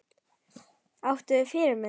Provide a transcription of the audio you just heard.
Áttu þér fyrirmyndir?